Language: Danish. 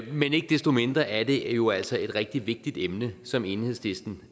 men ikke desto mindre er det jo altså et rigtig vigtigt emne som enhedslisten